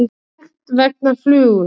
Sekt vegna flugu